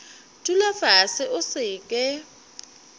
dula fase o se ke